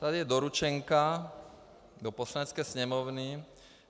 Tady je doručenka do Poslanecké sněmovny.